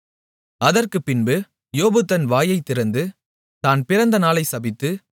அதற்குப் பின்பு யோபு தன் வாயைத்திறந்து தான் பிறந்த நாளைச் சபித்து